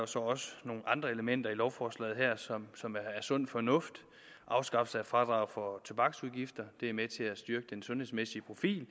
så også nogle andre elementer i lovforslaget her som er sund fornuft afskaffelse af fradraget for tobaksafgifter er med til at styrke den sundhedsmæssige profil